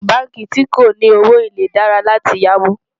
àwọn bánkì tí kò ní owó élè dára là tí yá owó